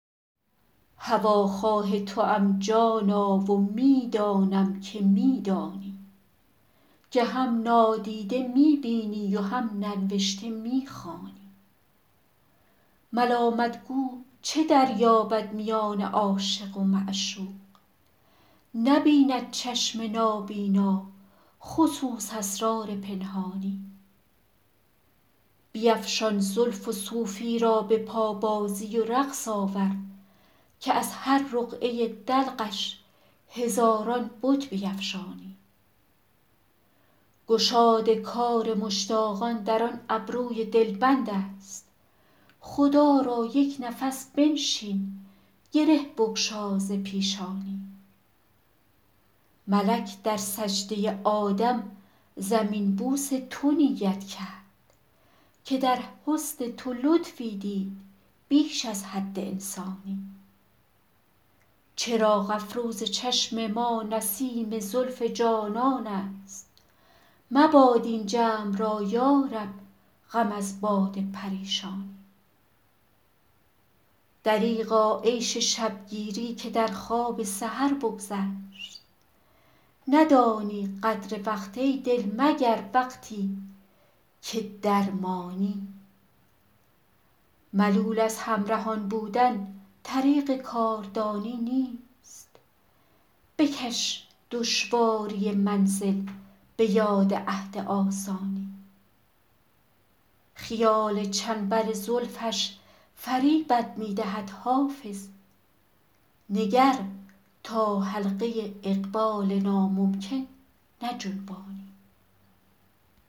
هواخواه توام جانا و می دانم که می دانی که هم نادیده می بینی و هم ننوشته می خوانی ملامت گو چه دریابد میان عاشق و معشوق نبیند چشم نابینا خصوص اسرار پنهانی بیفشان زلف و صوفی را به پابازی و رقص آور که از هر رقعه دلقش هزاران بت بیفشانی گشاد کار مشتاقان در آن ابروی دلبند است خدا را یک نفس بنشین گره بگشا ز پیشانی ملک در سجده آدم زمین بوس تو نیت کرد که در حسن تو لطفی دید بیش از حد انسانی چراغ افروز چشم ما نسیم زلف جانان است مباد این جمع را یا رب غم از باد پریشانی دریغا عیش شب گیری که در خواب سحر بگذشت ندانی قدر وقت ای دل مگر وقتی که درمانی ملول از همرهان بودن طریق کاردانی نیست بکش دشواری منزل به یاد عهد آسانی خیال چنبر زلفش فریبت می دهد حافظ نگر تا حلقه اقبال ناممکن نجنبانی